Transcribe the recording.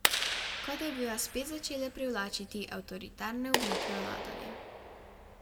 Kot da bi vas spet začele privlačiti avtoritarne oblike vladanja.